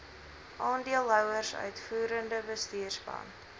aandeelhouers uitvoerende bestuurspan